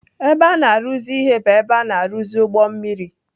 Ebe a na-arụzi ihe bụ ebe a na-arụzi ụgbọ mmiri.